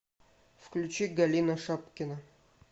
включи галина шапкина